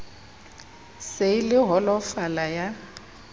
se e le holofala ya